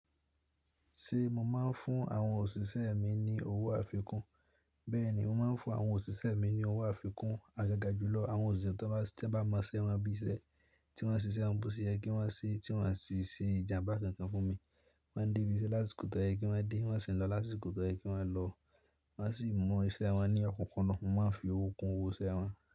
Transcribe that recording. Ṣé mo máa ń fún àwọn òṣìṣẹ́ mi ní owó àfikún? Bẹ́ẹ̀ ni, mo máa ń fún àwọn òṣìṣẹ́ mi ní owó àfikún agaga jùlọ. Àwọn òṣìṣẹ́ tí ẹ bá mọṣẹ́ wọn bí iṣẹ́ tí wọ́n ṣi se, won bo shey yẹ kí wọ́n se, tí wọ́n sì ṣe ìjàmbá kankan fún mi. Wọ́n ń dé ibi iṣẹ́ lásiko tọ́ yẹ kí wọ́n dé, wọ́n sì ń lọ lási kọ́ to yẹ kí wọ́n lọ. Wọ́n sì mọ iṣẹ́ wọn ní ọkọ̀kan lọ. Mo máa ń fi owó kun owó iṣẹ́ wọn.